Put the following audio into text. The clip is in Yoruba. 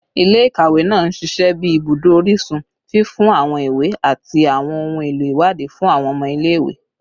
Ile-ikawe naa n ṣiṣẹ bi ibudo orisun, fifun awọn iwe ati awọn ohun elo iwadii fun awọn ọmọ ile-iwe